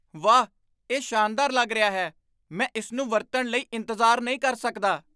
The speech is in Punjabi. ਵਾਹ, ਇਹ ਸ਼ਾਨਦਾਰ ਲੱਗ ਰਿਹਾ ਹੈ! ਮੈਂ ਇਸ ਨੂੰ ਵਰਤਣ ਲਈ ਇੰਤਜ਼ਾਰ ਨਹੀਂ ਕਰ ਸਕਦਾ।